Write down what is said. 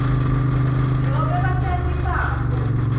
nobe batali babo